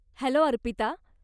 Hello, Arpita.